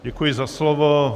Děkuji za slovo.